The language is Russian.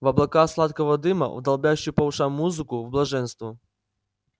в облака сладкого дыма в долбящую по ушам музыку в блаженство